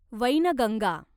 Wainganga